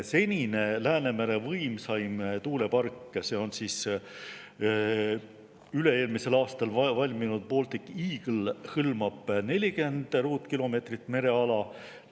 Senine Läänemere võimsaim tuulepark on üle-eelmisel aastal valminud Baltic Eagle, mis hõlmab 40 ruutkilomeetrit mereala.